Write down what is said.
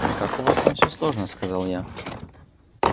как у вас там все сложно сказала я